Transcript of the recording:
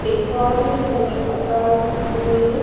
एक बहोत ही सुन्दर अकार में--